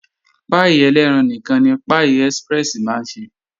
Páì elẹ́ran nìkan ni Pie express máa ń ṣe